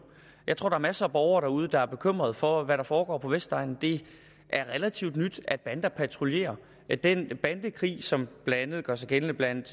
jeg tror der er masser af borgere derude der er bekymrede for hvad der foregår på vestegnen det er relativt nyt at bander patruljerer den bandekrig som blandt andet gør sig gældende blandt